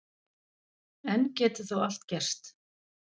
Enn getur þó allt gerst